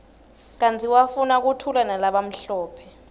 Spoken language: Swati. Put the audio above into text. kanti wafuna kuthulanalabamhlophe